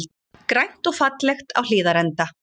Grænt og fallegt á Hlíðarenda